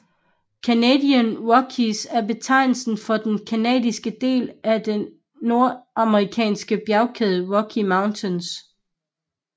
Canadian Rockies er betegnelsen for den canadiske del af den nordamerikanske bjergkæde Rocky Mountains